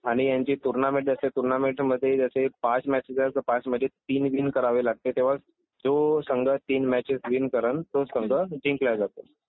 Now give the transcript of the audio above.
आणि ह्यांची टूर्नामेंट जशी टूर्नामेंट मधे जसे पाच मॅचेस आहे तो पाच मधे तीन विन करावे लागते तेव्हा तो संघ तीन मॅचेस विन करल तो संघ जिंकला जातो